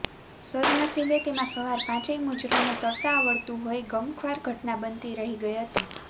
સદ્દનશીબે તેમાં સવાર પાંચેય મુજરોને તરતા આવડતું હોય ગમખ્વાર ઘટના બનતી રહી ગઈ હતી